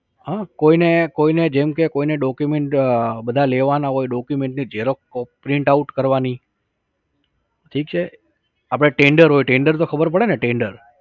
હં કોઈ ને જેમ કે કોઈને document બધા લેવાના હોય document ની xerox print out કરવાની. ઠીક છે આપડે tender હોય, tender તો ખબર પડે ને tender